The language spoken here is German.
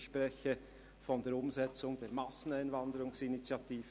Ich spreche von der Umsetzung der «Masseneinwanderungsinitiative».